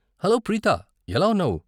Hello Preetha, ఎలా ఉన్నావు?